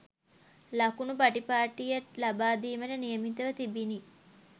ලකුණු පටිපාටිය ලබාදීමට නියමිතව තිබිණි